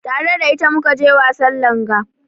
Tare da ita mu ka je wasan langa.